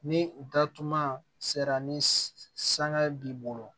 Ni u datuguma sera ni sanga ye b'i bolo